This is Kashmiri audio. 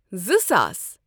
زٕ ساس